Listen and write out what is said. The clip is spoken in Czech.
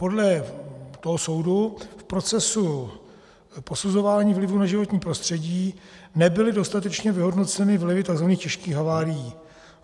Podle toho soudu v procesu posuzování vlivů na životní prostředí nebyly dostatečně vyhodnoceny vlivy tzv. těžkých havárií.